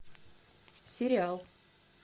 сериал